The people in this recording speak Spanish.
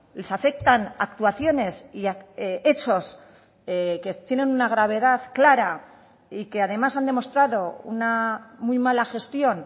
les afectan actuaciones y hechos que tienen una gravedad clara y que además han demostrado una muy mala gestión